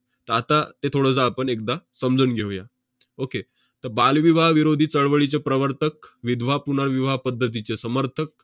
त~ आता ते थोडंसं आपण एकदा समजून घेऊया. okay तर बालविवाह विरोधी चळवळीचे प्रवर्तक, विधवा पुनर्विवाह पद्धतीचे समर्थक,